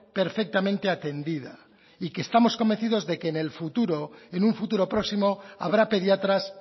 perfectamente atendida y que estamos convencidos de que en el futura en un futuro próximo habrá pediatras